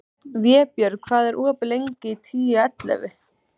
Vébjörg, hvað er opið lengi í Tíu ellefu?